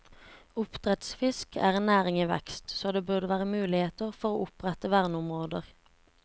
Oppdrettsfisk er en næring i vekst, så det burde være muligheter for å opprette verneområder.